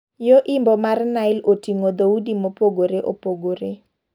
Yoo Imbo mar Nile otingo dhoudi mopogore opogore.